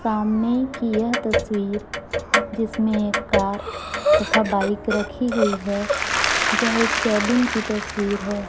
सामने की यह तस्वीर जिसमें एक कार तथा बाइक रखी हुई है यह एक केबिन की तस्वीर है।